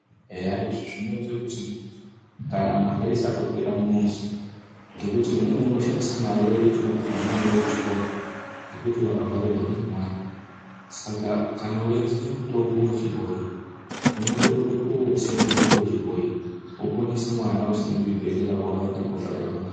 Eya izvi zvinoite kuti kana mare isatopera mumuzi ngekuti umweni unoshandise mare inotode kuti mwana aende kuchikoro ngekuti warwarirwa ngemwana. Saka kana weiziye mutombo wechibhoyi unotorumbe kuotse mutombo wechibhoyi woponese mwana usina kuchibhehlera kwawaenda kunobhadhara...